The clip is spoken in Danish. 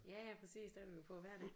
Ja ja præcis der er du jo på hver dag